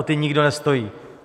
O ta nikdo nestojí.